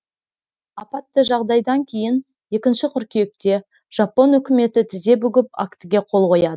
апатты жағдайдан кейін екінші қыркүйекте жапон үкіметі тізе бүгіп актіге қол қояды